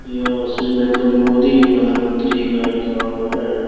ये श्री नरेन्द्र मोदी प्रधान मंत्री का लिखा हुआ है।